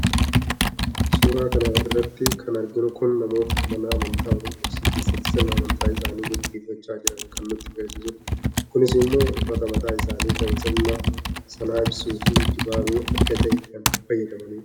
suuraa kana irratti kan arginu kun namoota mana amantaa ortodoksii keessatti sirna amantaa isaanii gagggeeffacha jiran kan nutti agarsiisudha. kunis immoo uffata mataa isaanii kan sirna sana ibsuufi dibaabee adda ta'e kan fayyadamanidha.